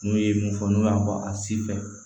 N'u ye mun fɔ n'u y'a fɔ a si fɛ